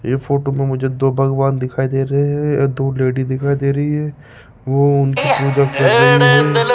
ये फोटो में मुझे दो भगवान दिखाई दे रहे हैं आ दो लेडी दिखाई दे रही है वो उनकी --